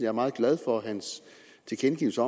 er meget glad for hans tilkendegivelse